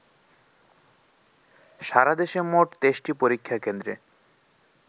সারাদেশে মোট ২৩টি পরীক্ষা কেন্দ্রে